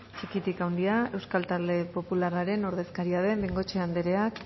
txikitik handira euskal talde popularraren ordezkaria den bengoechea andereak